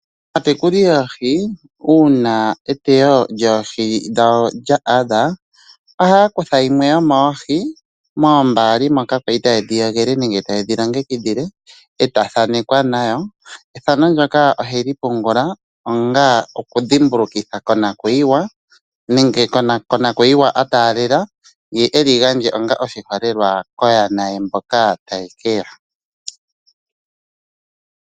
Aatekuli yoohi uuna eteyo lyoohi dhawo lya adha ohaya kutha yimwe yomoohi moombaali moka ya li taye dhi yogele nenge ya li taye dhi longekidhile ta thanekwa nayo. Ethano ndyoka ohe li pungula onga edhimbulukitho konakuyiwa nenge konakuyiwa a taalela ye e li gandje onga oshiholelwa koyana ye mboka taye ke ya.